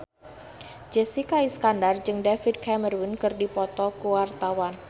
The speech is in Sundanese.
Jessica Iskandar jeung David Cameron keur dipoto ku wartawan